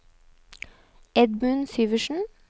Edmund Syversen